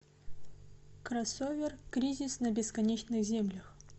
кроссовер кризис на бесконечных землях